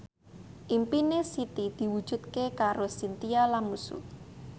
impine Siti diwujudke karo Chintya Lamusu